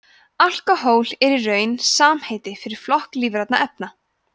alkóhól er í raun samheiti fyrir flokk lífrænna efna